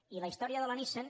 i la història de la nissan